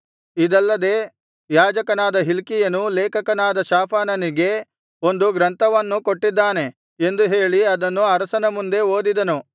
ಇದಲ್ಲದೆ ಯಾಜಕನಾದ ಹಿಲ್ಕೀಯನು ಲೇಖಕನಾದ ಶಾಫಾನನಿಗೆ ಒಂದು ಗ್ರಂಥವನ್ನು ಕೊಟ್ಟಿದ್ದಾನೆ ಎಂದು ಹೇಳಿ ಅದನ್ನು ಅರಸನ ಮುಂದೆ ಓದಿದನು